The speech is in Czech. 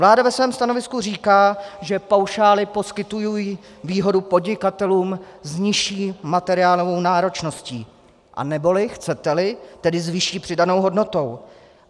Vláda ve svém stanovisku říká, že paušály poskytují výhodu podnikatelům s nižší materiálovou náročností, anebo chcete-li, tedy s vyšší přidanou hodnotou.